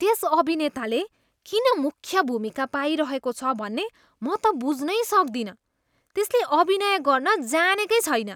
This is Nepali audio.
त्यस अभिनेताले किन मुख्य भूमिका पाइरहेको छ भन्ने म त बुझ्नै सक्दिनँ। त्यसले अभिनय गर्न जानेकै छैन।